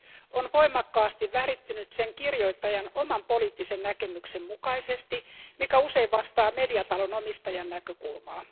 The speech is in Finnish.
on voimakkaasti värittynyt sen kirjoittajan oman poliittisen näkemyksen mukaisesti, joka usein vastaa mediatalon omistajan näkökulmaa.